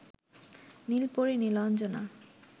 নীলপরী Nilanjana